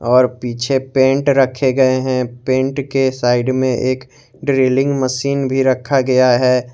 और पीछे पेंट रखे गए हैं पेंट के साइड में एक ड्रिलिंग मशीन भी रखा गया है।